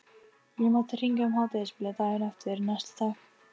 Ég mátti hringja um hádegisbilið daginn eftir, næsti takk!